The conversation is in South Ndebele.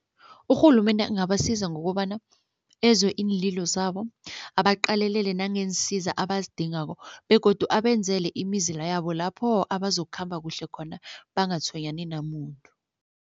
Urhulumende angabasiza ngokobana ezwe iinlilo zabo abaqalelele nangeensiza abazidingako begodu abenzele imizila yabo lapho abazokukhamba kuhle khona bangatshwenyani namuntu.